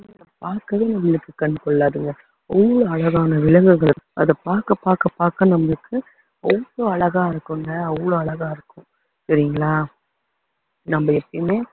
அதுங்களை பாக்கவே நம்மளுக்கு கண்ணு கொள்ளாதுங்க அவ்வளவு அழகான விலங்குகள் அதை பாக்க பாக்க பாக்க நம்மளுக்கு அவ்வளவு அழகா இருக்குங்க அவ்வளவு அழகா இருக்கும் சரிங்களா நம்ம எப்பயுமே